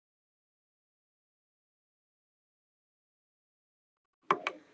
Ónefndur fréttamaður: En veiðileyfagjaldið?